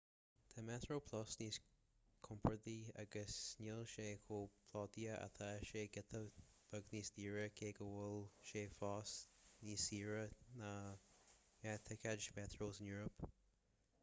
tá metroplus níos compordaí agus níl sé chomh plódaithe ach tá sé giota beag níos daoire cé go bhfuil sé fós níos saoire na gnáththicéid mheitreo san eoraip